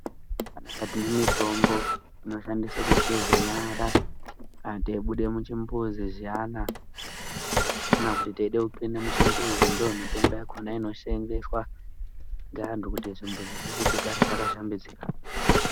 Pana apa tine mitombo inoshandiswa kugeza nyara kana teibuda muchimbuzi zviyana kana teida kupinda muchimbuzi ndomitombo yakona nosevenzeswa nevanhu kuti zvimbuzi zvedu zvigare zvakashambidzika.